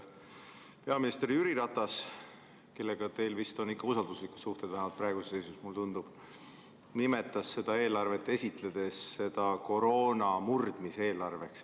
Peaminister Jüri Ratas, kellega teil on vist ikka usalduslikud suhted – vähemalt praeguses seisus, nagu mulle tundub –, nimetas seda eelarvet koroona murdmise eelarveks.